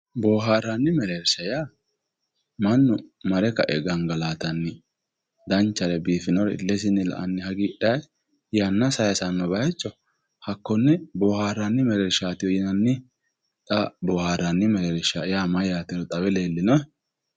Booharanni mereersha yaa mannu marre gangallatano danchare biifinore ilesinni la"anni yanna sayisano bayicho konne booharanni mereershati, booharanni mereersha yaa xawe leellinohe?